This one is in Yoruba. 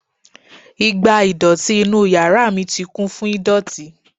igbá ìdọ̀tí inú yàrá mi ti kún fún ìdọ̀tí